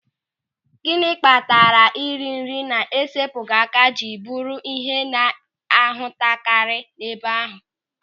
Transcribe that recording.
Gịnị kpatara ịrị nri na-esepụghị aka jiri bụrụ ịhe a na-ahụtakarị n'ebe ahụ?